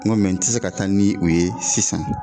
N ko n te se ka taa ni o ye sisan.